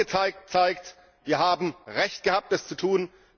Der heutige Tag zeigt, wir haben Recht gehabt, es zu tun.